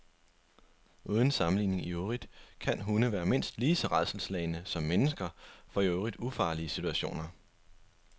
Uden sammenligning i øvrigt kan hunde være mindst lige så rædselsslagne som mennesker for i øvrigt ufarlige situationer.